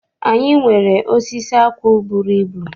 Anyị nwere osisi akwụ bụrụ ibu.